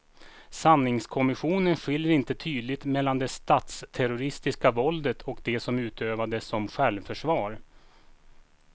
Sanningskommissionen skiljer inte tydligt mellan det statsterroristiska våldet och det som utövades som självförsvar.